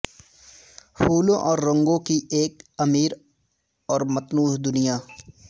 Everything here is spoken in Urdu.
پھولوں اور رنگوں کی ایک امیر اور متنوع دنیا